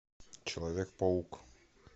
человек паук